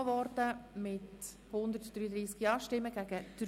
Der Antrag ist mit 133 Ja- gegen 3 Nein-Stimmen angenommen worden.